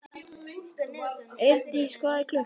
Eirdís, hvað er klukkan?